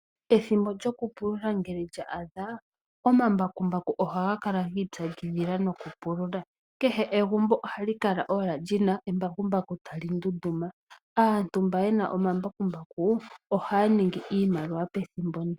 Ethimbo lyokupulula ngele lya adha. Omambakumbaku ohaga kala giitsakidhila nokupulula. Kehe egumbo ohali kala lina embakumbaku tali ndunduma. Aantu mba yena omambakumbaku ohaya ningi oshimaliwa pethimbo ndi.